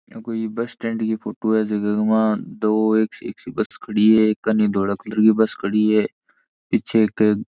ये कोई bus stand की फोटो है जेके मा दो एक सी सी बस खड़ी है एक कने धोले कलर की बस खड़ी है पीछे एक --